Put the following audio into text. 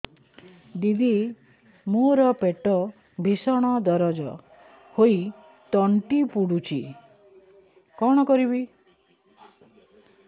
ଦିଦି ମୋର ପେଟ ଭୀଷଣ ଦରଜ ହୋଇ ତଣ୍ଟି ପୋଡୁଛି କଣ କରିବି